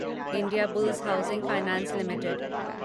Indiabulls housing finance limited